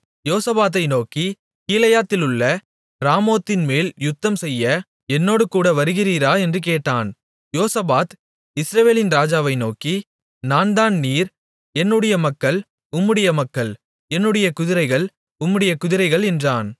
யோசபாத்தை நோக்கி கீலேயாத்திலுள்ள ராமோத்தின்மேல் யுத்தம்செய்ய என்னோடு கூட வருகிறீரா என்று கேட்டான் யோசபாத் இஸ்ரவேலின் ராஜாவை நோக்கி நான்தான் நீர் என்னுடைய மக்கள் உம்முடைய மக்கள் என்னுடைய குதிரைகள் உம்முடைய குதிரைகள் என்றான்